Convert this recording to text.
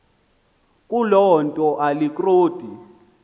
kuloo nto alikroti